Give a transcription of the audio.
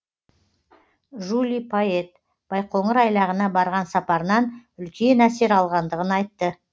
жули пайет байқоңыр айлағына барған сапарынан үлкен әсер алғандығын айтты